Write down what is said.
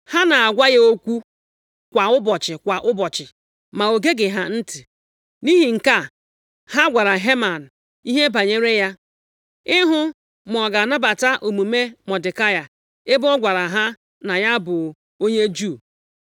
Ha na-agwa ya okwu kwa ụbọchị kwa ụbọchị, ma o geghị ha ntị. Nʼihi nke a, ha gwara Heman ihe banyere ya, ịhụ ma ọ ga-anabata omume Mọdekai, ebe ọ gwara ha na ya bụ onye Juu.